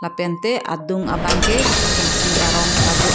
lapen te adung bang ke thengpi arong ta do.